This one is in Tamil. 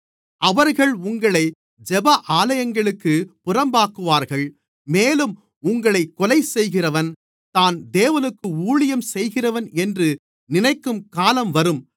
அவர்கள் உங்களை ஜெப ஆலயங்களுக்கு புறம்பாக்குவார்கள் மேலும் உங்களைக் கொலைசெய்கிறவன் தான் தேவனுக்கு ஊழியம் செய்கிறவன் என்று நினைக்கும் காலம் வரும்